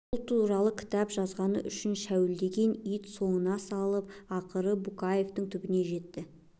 ол туралы кітап жазғаны үшін шәуілдеген ит соңына салып ақыры букетовтың түбіне жетті